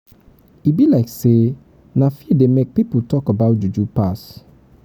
e be like sey na fear dey make pipo talk about juju pass.